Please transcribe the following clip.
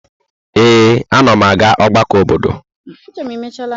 Ee, anam aga ọgbakọ obodo.